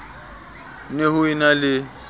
ne ho e na le